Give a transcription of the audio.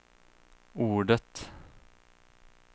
ordet